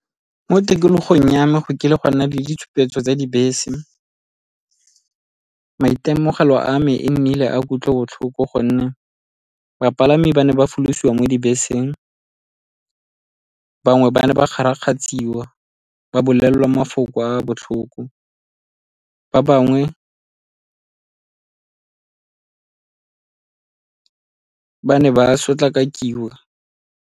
Mo tikologong ya me go kile go a nna le ditshupetso tsa dibese. Maitemogelo a me e nnile a kutlobotlhoko gonne bapalami ba ne ba folosiwa mo dibeseng, bangwe ba ne ba kgarakgatshiwa ba bolelelwa mafoko a a botlhoko, ba bangwe ba ne ba sotlakakiwa.